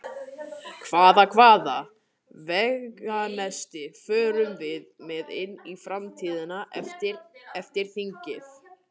Hvað, hvaða veganesti förum við með inn í framtíðina eftir, eftir þingið?